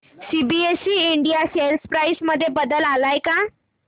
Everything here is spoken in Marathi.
एबीसी इंडिया शेअर प्राइस मध्ये बदल आलाय का